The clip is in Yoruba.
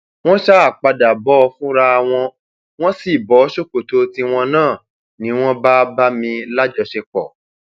wọn ṣáà padà bò ó fúnra wọn wọn sì bọ ṣòkòtò tiwọn náà ni wọn bá bá mi lájọṣepọ